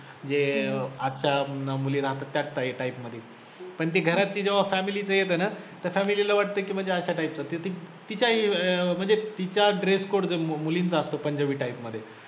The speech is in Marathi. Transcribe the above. म्हणजे अं आजच्या मुली राहतात त्या त्या type मध्ये पण ती घरात ती जेव्हा family ला येते ना तर family ला वाटतं की म्हणजे अश्या type च, तिच्या अं म्हणजे तिच्या dress code जो मुलींचा असतो पंजाबी type मध्ये